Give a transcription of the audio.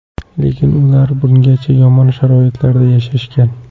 Lekin ular bungacha yomon sharoitlarda yashashgan.